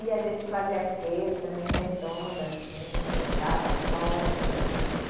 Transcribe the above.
E a gente fazia aquele também, redondo, assim, jogava pólvora.